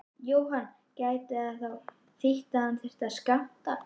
Jóhann: Gæti það þá þýtt að það þyrfti að skammta?